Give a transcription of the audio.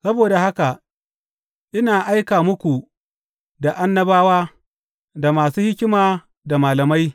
Saboda haka ina aika muku da annabawa, da masu hikima da malamai.